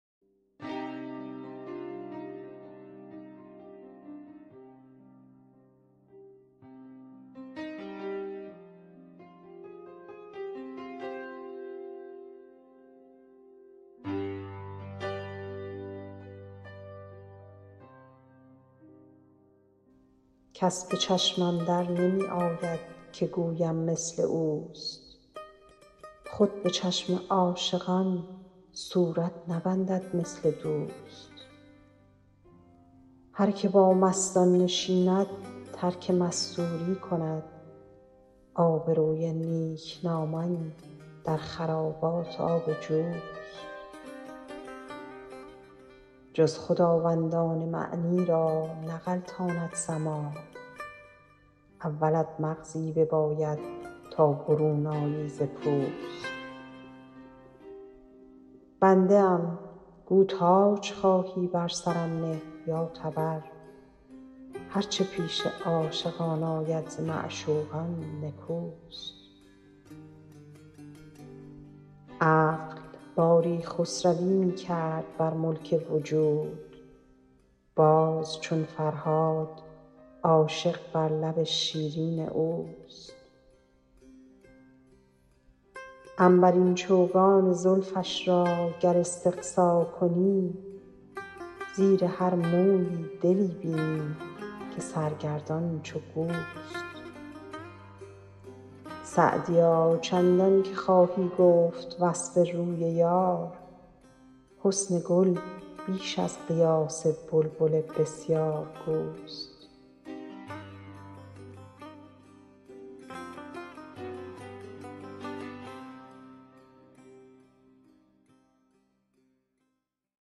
کس به چشمم در نمی آید که گویم مثل اوست خود به چشم عاشقان صورت نبندد مثل دوست هر که با مستان نشیند ترک مستوری کند آبروی نیکنامان در خرابات آب جوست جز خداوندان معنی را نغلطاند سماع اولت مغزی بباید تا برون آیی ز پوست بنده ام گو تاج خواهی بر سرم نه یا تبر هر چه پیش عاشقان آید ز معشوقان نکوست عقل باری خسروی می کرد بر ملک وجود باز چون فرهاد عاشق بر لب شیرین اوست عنبرین چوگان زلفش را گر استقصا کنی زیر هر مویی دلی بینی که سرگردان چو گوست سعدیا چندان که خواهی گفت وصف روی یار حسن گل بیش از قیاس بلبل بسیارگوست